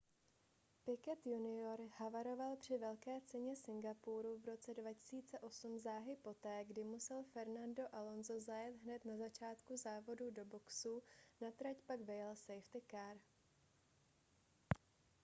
piquet jr havaroval při velké ceně singapuru v roce 2008 záhy poté kdy musel fernando alonso zajet hned na začátku závodů do boxů na trať pak vyjel safety car